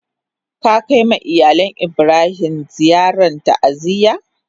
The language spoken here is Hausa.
Ka kai ma iyalin Ibrahim ziyaran ta'aziyya?